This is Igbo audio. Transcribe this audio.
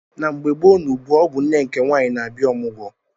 Na mgbe gboo na ugbua ọ bụ nne nke nwaanyị na abịa omugwo